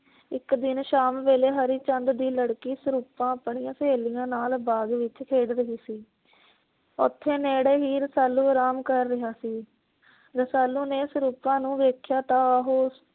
ਇਕ ਦਿਨ ਸ਼ਾਮ ਵੇਲੇ ਹਰੀ ਚੰਦ ਦੀ ਲੜਕੀ ਸਰੂਪਾ ਆਪਣੀਆਂ ਸਹੇਲੀਆਂ ਨਾਲ ਬਾਗ਼ ਵਿੱਚ ਖੇਡ ਰਹੀ ਸੀ। ਓਥੇ ਨੇੜੇ ਹੀ ਰਸਾਲੂ ਅਰਾਮ ਕਰ ਰਿਹਾ ਸੀ। ਰਸਾਲੂ ਨੇ ਸਰੂਪਾ ਨੂੰ ਵੇਖਿਆ ਤਾਂ ਉਹ